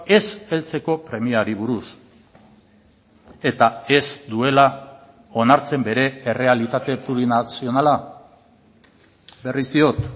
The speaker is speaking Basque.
ez heltzeko premiari buruz eta ez duela onartzen bere errealitate plurinazionala berriz diot